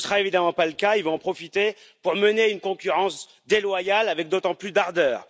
Ce ne sera évidemment pas le cas, ils vont en profiter pour mener une concurrence déloyale avec d'autant plus d'ardeur.